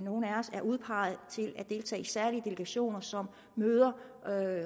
nogle af os er udpeget til at deltage i særlige delegationer som møder